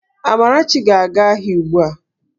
Amarachi ga-aga ahia ugbua!